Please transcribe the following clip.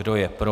Kdo je pro?